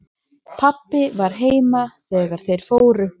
Pabbi var heima þegar þeir fóru.